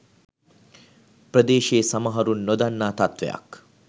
ප්‍රදේශයේ සමහරුන් නොදන්නා තත්ත්වයක්